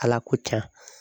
ALA ko can.